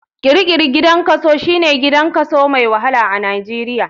Kirikiri maximum gidan kaso, shine gidan kaso mai wahala a nijeria.